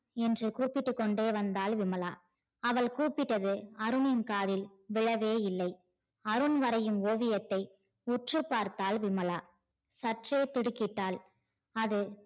என்று கூப்பிட்டு கொண்டே வந்தால் விமலா அவள் கூப்பிட்டது அருணின் காதில் விழவே இல்லை அருண் வரையும் ஓவியத்தை உற்று பார்த்தால் விமலா சற்றே திடிக்கிட்டால் அது